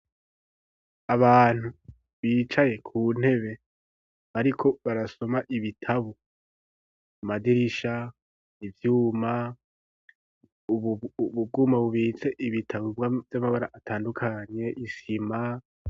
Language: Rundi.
Abantu ,bicaye ,ku ntebe ,bariko barasoma ibitabo, madirisha, ivyuma ,ubwuma bubitse ibitabo, vy'amabara atandukanye ,Isima.